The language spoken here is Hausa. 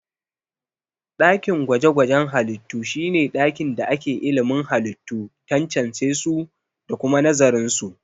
Dakin gwaje-gwajen halittu shi ne ɗakin da ake ilimin halittu, tantancesu da kuma nazarinsu.